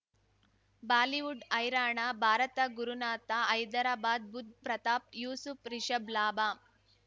Bollywood ಹೈರಾಣ ಭಾರತ ಗುರುನಾಥ ಹೈದರಾಬಾದ್ ಬುಧ್ ಪ್ರತಾಪ್ ಯೂಸುಫ್ ರಿಷಬ್ ಲಾಭ